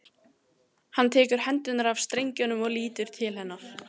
Hann tekur hendurnar af strengjunum og lítur til hennar.